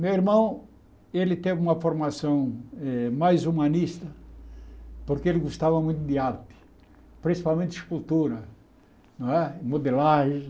Meu irmão, ele teve uma formação eh mais humanista, porque ele gostava muito de arte, principalmente escultura, não é modelagem.